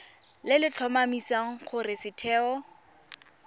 le le tlhomamisang gore setheo